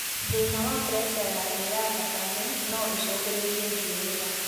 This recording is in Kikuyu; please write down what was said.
Thĩna wa preca ya thĩ ya thakame noũcũngĩrĩrie thiũrũra